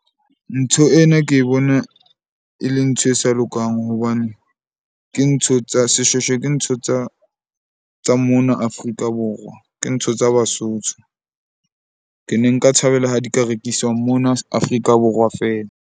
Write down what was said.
Ntho ena ke bona e le ntho e sa lokang hobane ke ntho tsa, seshweshwe ke ntho tsa mona Afrika Borwa. Ke ntho tsa Basotho. Ke ne nka thabela ha di ka rekiswa mona Afrika Borwa feela.